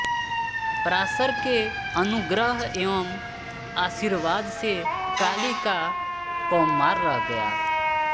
पराशर के अनुग्रह एवं आशीर्वाद से काली का कौमार रह गया